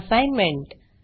assignment